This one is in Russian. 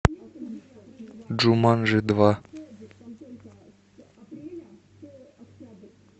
джуманджи два